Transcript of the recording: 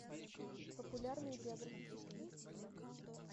популярные биографические фильмы